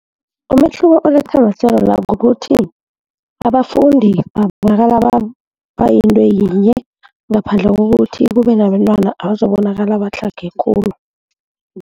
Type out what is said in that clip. Umehluko olethwa amahlelo la kukuthi abafundi babonakala bayinto yinye, ngaphandle kokuthi kube nabentwana bazokubonakala batlhage khulu.